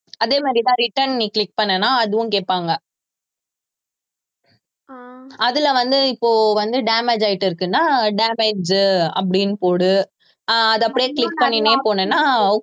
அதே மாதிரிதான் return நீ click பண்ணுனா அதுவும் கேட்பாங்க அதுல வந்து இப்போ வந்து damage ஆயிட்டிருக்குன்னா damage அப்படின்னு போடு ஆஹ் அதை அப்படியே click பண்ணினே போனேன்னா